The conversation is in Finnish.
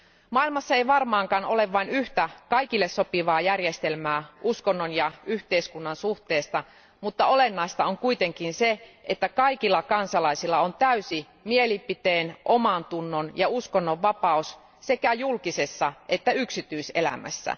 Maailmassa ei varmaankaan ole vain yhtä kaikille sopivaa järjestelmää uskonnon ja yhteiskunnan suhteesta, mutta olennaista on kuitenkin se, että kaikilla kansalaisilla on täysi mielipiteen omantunnon ja uskonnonvapaus sekä julkisessa elämässä että yksityiselämässä.